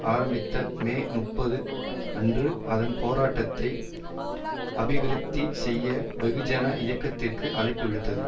ஆரம்பித்த மே முப்பது அன்று அதன் போராட்டத்தை அபிவிருத்தி செய்ய வெகுஜன இயக்கத்திற்கு அழைப்பு விடுத்தது